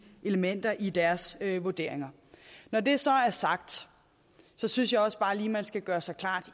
elementer i deres vurderinger når det så er sagt synes jeg også bare lige igen man skal gøre sig klart